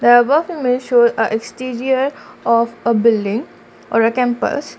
shows exterior of a building or a campus.